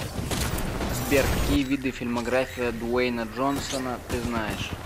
сбер какие виды фильмография дуэйна джонсона ты знаешь